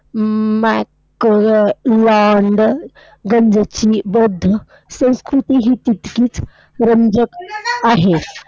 बौद्ध संस्कृती ही तितकीच रंजक आहे.